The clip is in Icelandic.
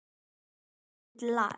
Nú er vonandi lag.